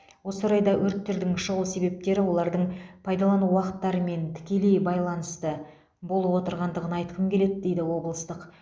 осы орайда өрттердің шығу себептері олардың пайдалану уақыттарымен тікелей байланысты болып отырғандығын айтқым келеді дейді облыстық